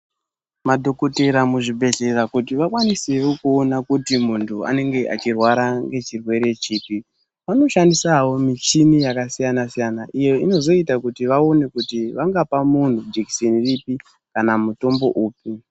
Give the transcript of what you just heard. Madhokotera muzvibhehleya kuti vakwanisewo kuona kuti muntu anenge achirwara ngechirwere chipi vanoshandisawo michini yakasiyana-siyana iyo inozoita kuti vaone kuti vangapa muntu jikiseni ripi kana mutombo upi.